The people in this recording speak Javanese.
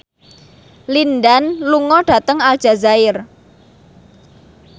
Lin Dan lunga dhateng Aljazair